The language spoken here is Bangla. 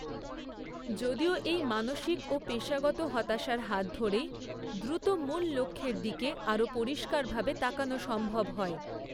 যদিও এই মানসিক ও পেশাগত হতাশার হাত ধরেই, দ্রুত, মূল লক্ষ্যের দিকে আরও পরিষ্কারভাবে তাকানো সম্ভব হয়।